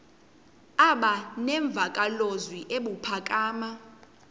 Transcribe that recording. aba nemvakalozwi ebuphakama